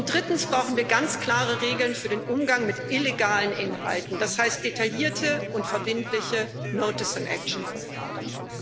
Drittens brauchen wir ganz klare Regeln für den Umgang mit illegalen Inhalten, das heißt detaillierte und verbindliche Notice und Action Verfahren.